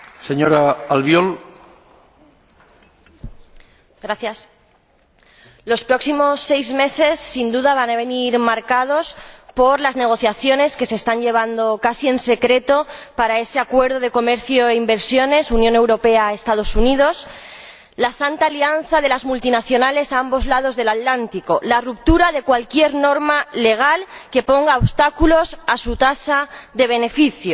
Señor Presidente, los próximos seis meses, sin duda, van a venir marcados por las negociaciones que se están llevando casi en secreto para ese Acuerdo sobre comercio e inversión entre la Unión Europea y los Estados Unidos, la santa alianza de las multinacionales a ambos lados del Atlántico, la ruptura de cualquier norma legal que ponga obstáculos a su tasa de beneficio.